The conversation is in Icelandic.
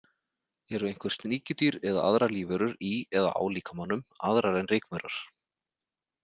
Eru einhver sníkjudýr eða aðrar lífverur í eða á líkamanum, aðrar en rykmaurar?